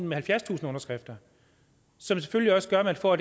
med halvfjerdstusind underskrifter som selvfølgelig også gør at man får